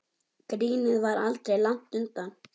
Grínið var aldrei langt undan.